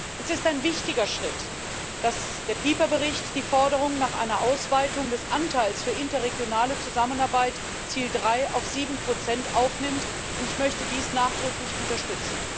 Es ist ein wichtiger Schritt, dass der Bericht Pieper die Forderung nach einer Ausweitung des Anteils für interregionale Zusammenarbeit, Ziel 3, auf 7 aufnimmt, und ich möchte dies nachdrücklich unterstützen.